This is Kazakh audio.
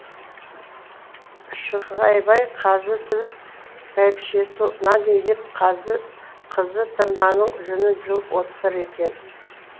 шы ғайбай қазы тіліп бәйбішесі нан илеп қызы тырнаның жүнін жұлып отыр екен